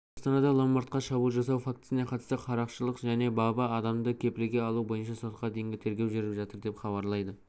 астанада ломбардқа шабуыл жасау фактісіне қатысты қарақшылық және бабы адамды кепілге алу бойынша сотқа дейінгі тергеу жүріп жатыр деп хабарлайды